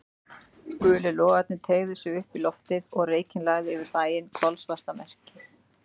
Gulir logarnir teygðu sig upp í loftið og reykinn lagði yfir bæinn, kolsvarta mekki.